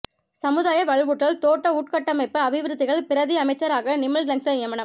சமுதாய வலுவூட்டல் தோட்ட உட்கட்டமைப்பு அபிவிருத்திகள் பிரதி அமைச்சராக நிமல் லங்ஸ நியமனம்